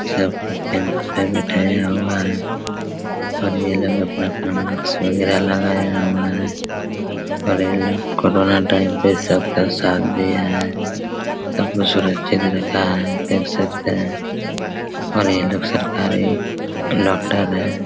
सब को कैंप में बिठाया हुआ है और ये लोग अपना-अपना मास्क वगेरा लगाया हुआ है और ये लोग कोरोना टाइम पे सबका साथ दिआ है सबको सुरक्षित रखा है देख सकते है और ये लोग सरकारी डॉक्टर है।